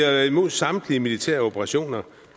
er imod samtlige militære operationer